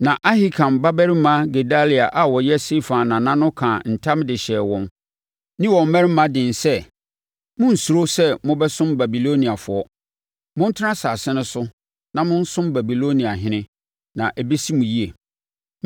Na Ahikam babarima Gedalia a ɔyɛ Safan nana no kaa ntam de hyɛɛ wɔn ne wɔn mmarima den sɛ, “Monnsuro sɛ mobɛsom Babiloniafoɔ. Montena asase no so na monsom Babiloniahene, na ɛbɛsi mo yie.